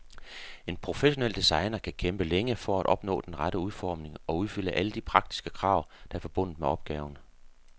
En professionel designer kan kæmpe længe for at opnå den rette udformning og opfylde alle de praktiske krav, der er forbundet med opgaven.